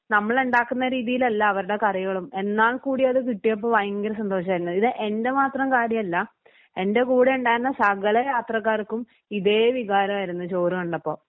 നമ്മളുണ്ടാക്കുന്ന രീതിയിലല്ല അവരുടെ കറികളും എന്നാൽ കൂടി അത് കിട്ടിയപ്പോ ഭയങ്കര സന്തോഷം ആയിരുന്നു. ഇത് എൻ്റെ മാത്രം കാര്യമല്ല എൻ്റെ കൂടെ ഉണ്ടായിരുന്ന സകല യാത്രക്കാർക്കും ഇതേ വികാരമായിരുന്നു ചോറു കണ്ടപ്പം .